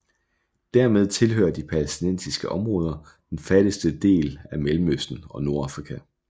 Dermed tilhører de palæstinensiske områder den fattigste del af Mellemøsten og Nordafrika